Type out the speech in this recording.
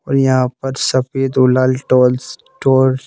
और यहां पर सफेद और लाल टोल्स टोल्स --